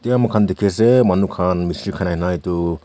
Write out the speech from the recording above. etia moikhan dikhi ase manukhan na etu.